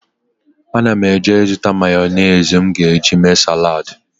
Ana m eje ịzụta mayọnesị m ga-eji mee saladị.